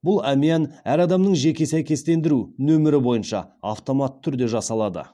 бұл әмиян әр адамның жеке сәйкестендіру номері бойынша автоматты түрде жасалады